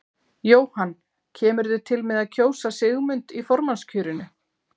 Jóhann: Kemurðu til með að kjósa Sigmund í formannskjörinu?